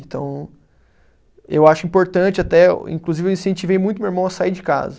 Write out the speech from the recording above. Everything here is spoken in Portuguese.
Então, eu acho importante até, inclusive eu incentivei muito meu irmão a sair de casa.